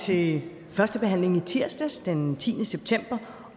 til første behandling i tirsdags den tiende september